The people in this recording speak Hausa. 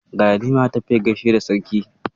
Galadima ya tafi ya gaishe da Sarki.